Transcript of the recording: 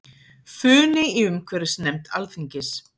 Funi í umhverfisnefnd Alþingis